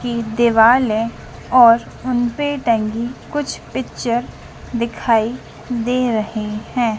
की देवाल और हम पे टंगी कुछ पिक्चर दिखाई दे रहें हैं।